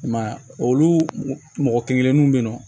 I m'a ye olu mɔgɔ kelen kelennu bɛ yen nɔ